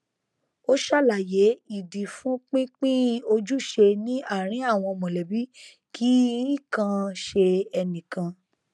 ó ṣàlàyé ìdí fún pínpín ojúṣe ní àárín àwọn mọlẹbí kì í kàn ṣe ẹnìkan